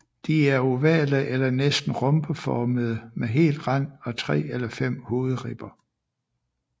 De er ovale eller næsten rhombeformede med hel rand og tre eller fem hovedribber